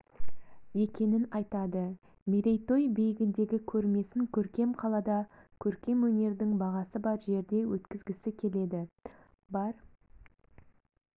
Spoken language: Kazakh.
екенін айтады мерейтой биігіндегі көрмесін көркем қалада көркем өнердің бағасы бар жерде өткізгісі келеді бар